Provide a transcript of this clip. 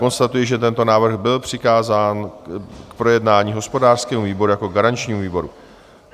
Konstatuji, že tento návrh byl přikázán k projednání hospodářskému výboru jako garančnímu výboru.